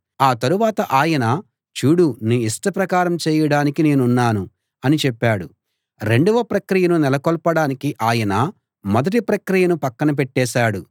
ఆ తరువాత ఆయన చూడు నీ ఇష్ట ప్రకారం చేయడానికి నేనున్నాను అని చెప్పాడు రెండవ ప్రక్రియను నెలకొల్పడానికి ఆయన మొదటి ప్రక్రియను పక్కన పెట్టేశాడు